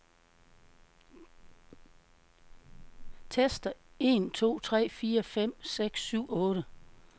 Tester en to tre fire fem seks syv otte.